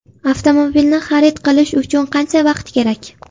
Avtomobilni xarid qilish uchun qancha vaqt kerak?